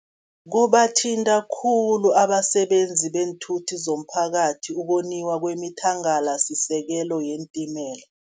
Kubathinta khulu abasebenzi beenthuthi zomphakathi, ukoniwa kwemithangalasisekelo yeentimela.